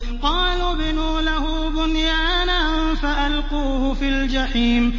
قَالُوا ابْنُوا لَهُ بُنْيَانًا فَأَلْقُوهُ فِي الْجَحِيمِ